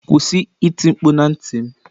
Kwụsị iti mkpu na ntị m.